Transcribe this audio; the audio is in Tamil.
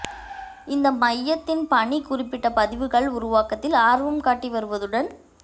இந்த மையத்தின் பணி குறிப்பிட்ட பதிவுகள் உருவாக்கத்தில் ஆர்வம் காட்டி வருவதுடன்